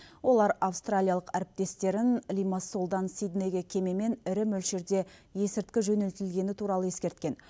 олар австралиялық әріптестерін лимассолдан сиднейге кемемен ірі мөлшерде есірткі жөнелтілгені туралы ескерткен